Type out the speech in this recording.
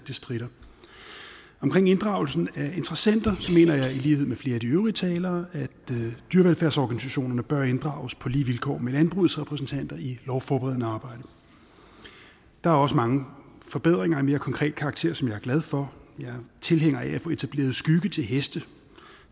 det stritter omkring inddragelsen af interessenter mener jeg i lighed med flere af de øvrige talere at dyrevelfærdsorganisationerne bør inddrages på lige vilkår med landbrugets repræsentanter i lovforberedende arbejde der er også mange forbedringer af mere konkret karakter som jeg er glad for jeg er tilhænger af at få etableret skygge til heste